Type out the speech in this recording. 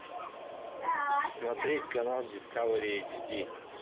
смотреть канал дискавери эйч ди